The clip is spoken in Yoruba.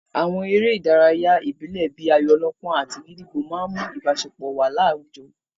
Àwọn eré ìdárayá ìbílẹ̀ bíi ayò-ọlọ́pọ́n àti gídígbò máa n mú ìbáṣepọ̀ wà láwùjọ